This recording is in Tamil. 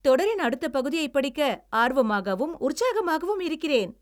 தொடரின் அடுத்த பகுதியைப் படிக்க ஆர்வமாகவும் உற்சாகமாகவும் இருக்கிறேன்!